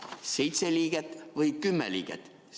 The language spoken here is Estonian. Seitse liiget või kümme liiget?